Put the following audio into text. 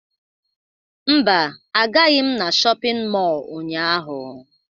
Mba, agaghị m na shọpịn mọọ ụnyaahụ